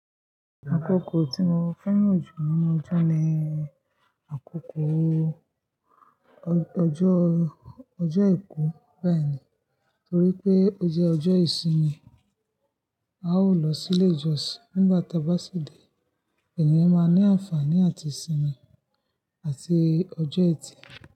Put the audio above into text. Àkókò tí mo fẹ́ràn jù nínú ọjọ́ ni àkókò ọjọ́, ọjọ́ ìkú bẹ́ẹ̀ni, torí pé ó jẹ́ ọjọ́ ìsinmi. A ó lọ sí ilé ìjọsìn nígbà tá bá sì dé, ènìyàn máa ní àǹfààní àti sinmi àti ọjọ́ etí.